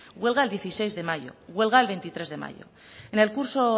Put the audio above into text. huelga el dieciséis de mayo huelga veintitrés de mayo en el curso